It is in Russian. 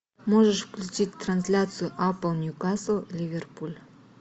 можешь включить трансляцию апл ньюкасл ливерпуль